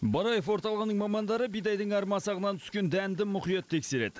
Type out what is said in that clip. бараев орталығының мамандары бидайдың әр масағынан түскен дәнді мұқият тексереді